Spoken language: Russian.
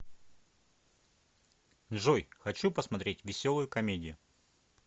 джой хочу посмотреть веселую комедию